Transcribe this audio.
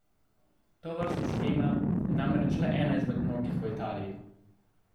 Tovrstna shema je namreč le ena izmed mnogih v Italiji.